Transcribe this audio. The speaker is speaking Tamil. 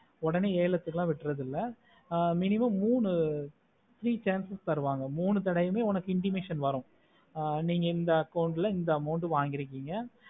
ஒடனே ஏலத்துக்குல விடுறது இல்ல ஆஹ் minimum மூணு three chances தருவாங்க மூணு தடவையும் உனக்கு intimation வரும் ஆஹ் நீங்க இந்த account ல இந்த amount வாங்கிருக்கிங்க